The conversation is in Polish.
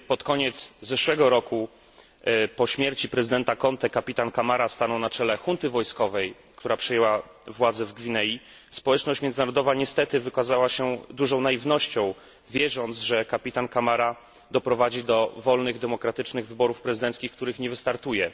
Kiedy pod koniec zeszłego roku, po śmierci prezydenta Contégo, kapitan Camara stanął na czele junty wojskowej, która przejęła władzę w Gwinei, społeczność międzynarodowa niestety wykazała się dużą naiwnością, wierząc, że kapitan Camara doprowadzi do wolnych, demokratycznych wyborów prezydenckich, w których nie wystartuje.